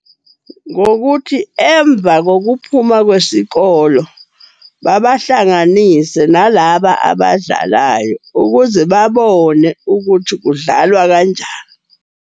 Ngokuthi emva ngokuphuma kwesikolo, babahlanganise nalaba abadlalayo. Ukuze babone ukuthi kudlalwa .